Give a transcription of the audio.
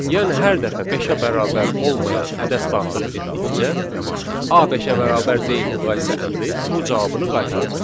Yəni hər dəfə beşə bərabər olmayan ədəd daxil etdikcə A beşə bərabər deyil müqayisə əmri true cavabını qaytaracaq.